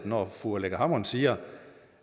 når fru aleqa hammond siger